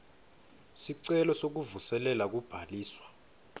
sicelo sekuvuselela kubhaliswa